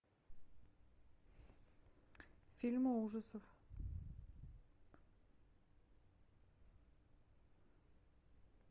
фильмы ужасов